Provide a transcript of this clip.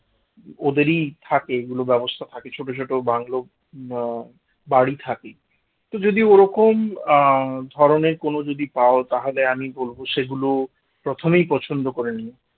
ওদেরই থাকে এগুলো ব্যবস্থা থাকে ছোট ছোট বাংলো। আহ বাড়ি থাকে তো যদি ওরক আহ ধরনের কোনো যদি পাও তাহলে আমি বলব সেগুলো প্রথমেই পছন্দ করে নিও